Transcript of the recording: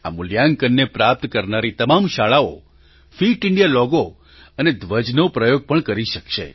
આ મૂલ્યાંકનને પ્રાપ્ત કરનારી તમામ શાળાઓ ફિટ ઇન્ડિયા લૉગો અને ધ્વજનો પ્રયોગ પણ કરી શકશે